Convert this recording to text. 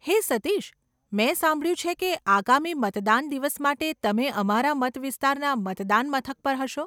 હે સતીશ, મેં સાંભળ્યું છે કે આગામી મતદાન દિવસ માટે તમે અમારા મતવિસ્તારના મતદાન મથક પર હશો.